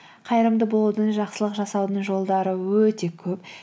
қайырымды болудың жақсылық жасаудың жолдары өте көп